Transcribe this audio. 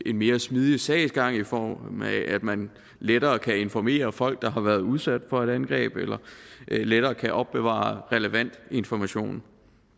en mere smidig sagsgang i form af at man lettere kan informere folk der har været udsat for et angreb eller lettere kan opbevare relevant information